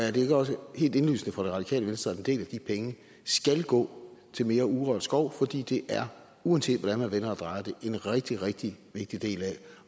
er det ikke også helt indlysende for det radikale venstre at en del af de penge skal gå til mere urørt skov fordi det uanset hvordan man vender og drejer det er en rigtig rigtig vigtig del